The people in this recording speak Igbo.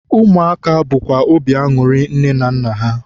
ụmụaka bụkwa obi anụrị nne na nna ha.